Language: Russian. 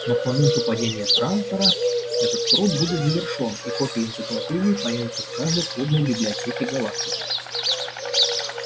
но к моменту падения трантора этот труд будет завершён и копии энциклопедии появятся в каждой крупной библиотеке галактики